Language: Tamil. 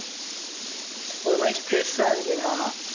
ஒரு மாதிரி stress ஆ இருக்குடா